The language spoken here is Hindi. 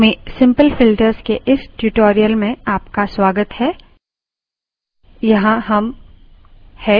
लिनक्स में simple filters के इस tutorial में आपका स्वागत है